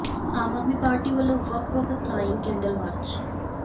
ਆਮ Aadmi Party ਵੱਲੋਂ ਵੱਖ ਵੱਖ ਥਾਈਂ ਕੈਂਡਲ ਮਾਰਚ